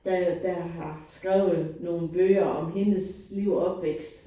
Der jo der har skrevet nogle bøger om hendes liv og opvækst